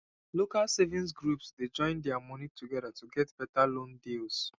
local savings groups dey join their moni together to get better loan deals